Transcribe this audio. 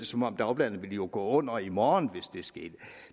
som om dagbladene ville gå under i morgen hvis det skete